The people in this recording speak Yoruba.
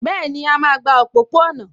Bẹ́ẹ̀ni, a máa gba òpópó-ọ̀nà